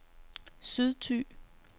Sydthy